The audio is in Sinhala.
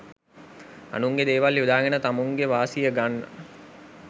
අනුන්ගෙ දේවල් යොදාගෙන තමුංගෙ වාසිය ගන්න